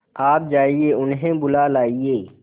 आप जाइए उन्हें बुला लाइए